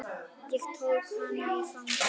Ég tók hana í fangið.